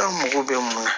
An mago bɛ mun na